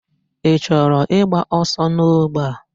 Ị chọrọ ịgba ọsọ n'ogbe a?